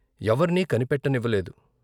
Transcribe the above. ఎవర్నీ కనిపెట్టనివ్వలేదు.